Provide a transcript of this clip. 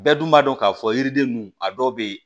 Bɛɛ dun b'a dɔn k'a fɔ yiriden ninnu a dɔw bɛ yen